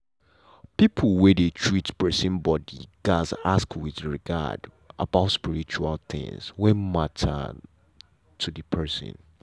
people wey dey treat person body gatz ask with regard about spiritual things wey matter to the person.